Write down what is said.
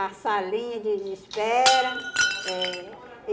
A salinha de de espera. Eh